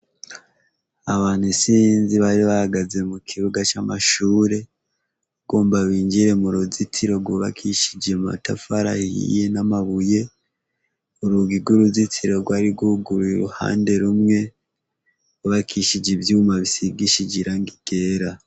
Abantu insiinzi bari bagaze mu kibuga c'amashure go mba binjire mu ruzitiro rwubakishije matafara hhiye n'amabuye urugige uruzitiro rwari rwuguruye iruhande rumwe bubakishije ivyuma bisigishije irang igera.